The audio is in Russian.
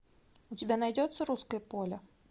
у тебя найдется русское поле